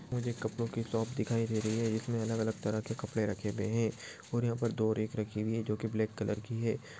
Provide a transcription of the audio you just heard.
मुझे कपडो की शॉप दिखाई दे रही है इसमे अलग अलग तरह के कपड़े रखे हुए है और यहा पर दो रेक रखी हुई है जोकि ब्लॅक कलर की है।